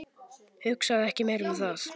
Hugsaðu ekki meira um það.